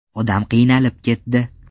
Odam qiynalib ketdi.